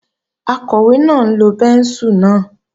Akọ̀wé náà ń lo bẹ́ńsù náà